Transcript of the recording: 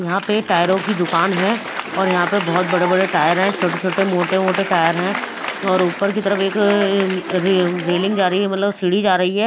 यहां पे टायरों की दुकान है और यहां पे बहुत बड़े बड़े टायर हैं छोटे छोटे मोटे टायर हैं और ऊपर की तरफ एक रे रेलिंग जा रही है मतलब सीढ़ी जा रही है।